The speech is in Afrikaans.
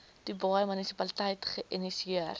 dubai munisipaliteit geïnisieer